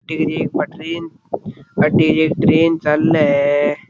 Train चाले है।